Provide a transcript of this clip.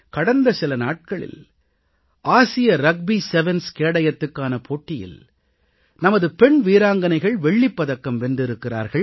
கடந்த சில நாட்களில் ஆசிய ரக்பி செவன்ஸ் கேடயத்துக்கான போட்டியில் நமது பெண் வீராங்கனைகள் வெள்ளிப்பதக்கம் வென்றிருக்கிறார்கள்